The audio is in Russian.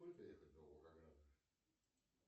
сколько ехать до волгограда